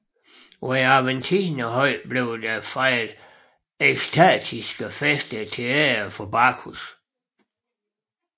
På Aventinerhøjen blev der fejret ekstatiske fester til ære for Bacchus